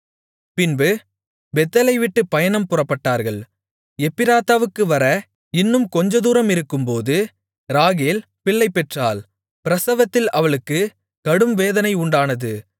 பின்பு பெத்தேலை விட்டுப் பயணம் புறப்பட்டார்கள் எப்பிராத்தாவுக்கு வர இன்னும் கொஞ்சம் தூரமிருக்கும்போது ராகேல் பிள்ளைபெற்றாள் பிரசவத்தில் அவளுக்குக் கடும்வேதனை உண்டானது